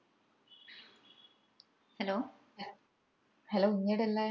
hello hello നീ എടയ ഇള്ളെ?